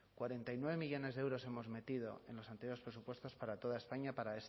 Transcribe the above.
cuarenta y nueve millónes de euros hemos metido en los anteriores presupuestos para toda españa